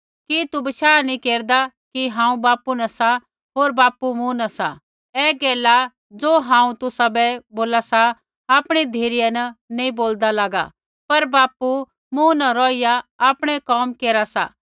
कि तू बशाह नी केरदा कि हांऊँ बापू न सा होर बापू मूँ न सा ऐ गैला ज़ो हांऊँ तुसाबै बोला सा आपणी धिरै न नैंई बोलदा लागा पर बापू मूँ न रौहिया आपणै कोम केरा सा